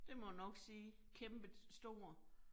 Det må nok sige. Kæmpestor